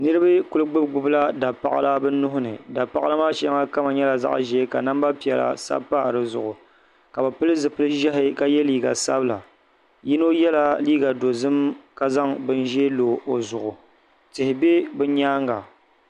Niriba kuli gbubi gbubila dapaɣila bɛ nuhi ni dapaɣila maa shɛŋa kama nyɛla zaɣ'ʒee ka namba piɛla sabi pa di zuɣu ka bɛ pili zipili ʒɛhi ka ye liiga sabila yino yela liiga dozim ka zaŋ bini ʒee lo o zuɣu tihi be bɛ nyaaŋa.